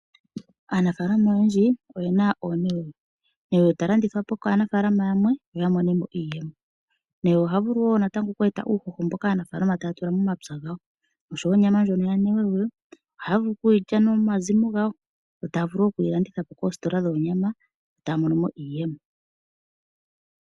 Aanafaalama oyendji oyena oonewewe, newewe ta landithwa po kaanafaalama yamwe yamone mo iiyemo, newewe oha vulu woo oku e ta po uuhoho mboka aanafaalama taya tula momapya gawo, osho woo onyama yanewewe ohaya vulu oku yilya nomazimo gawo, yo taya vulu woo okuyi landitha po koositola shoonyama yo taya mono iiyemo.